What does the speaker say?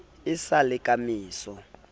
e sa le ka meso